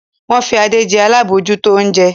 Wọ́n fi Adé jẹ alábòójútó oúnjẹ.